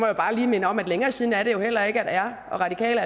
jo bare lige minde om at længere siden er det jo heller ikke at radikale